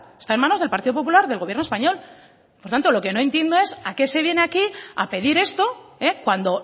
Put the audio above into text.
está en manos del partido popular del gobierno español por tanto lo que no entiendo es a qué se viene aquí a pedir esto cuando